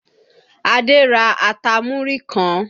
Adé ra ata múrí kan